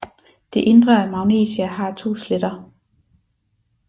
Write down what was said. Det indre af Magnesia har to sletter